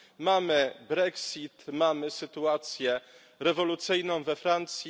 Mamy brexit, mamy sytuację rewolucyjną we Francji.